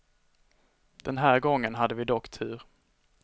Den här gången hade vi dock tur.